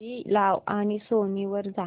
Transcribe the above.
TV लाव आणि Sony वर जा